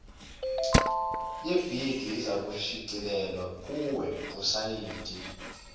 yebhidi izakushicilelwa kuwebhusayidi